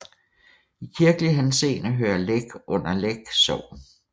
I kirkelig henseende hører Læk under Læk Sogn